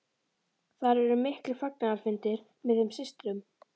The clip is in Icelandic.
Þar urðu miklir fagnaðarfundir með þeim systrum.